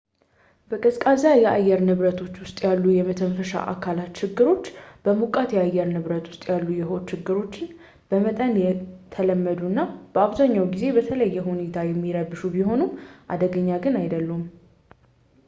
በቀዝቃዛ የአየር ንብረቶች ውስጥ ያሉ የመተንፈሻ አካላት ችግሮች በሞቃታማ የአየር ንብረቶች ውስጥ ያሉ የሆድ ችግሮች በመጠኑ የተለመዱና በአብዛኛዎቹ ጊዜም በተለየ ሁኔታ የሚረብሹ ቢሆኑም አደገኛ ግን አይደሉም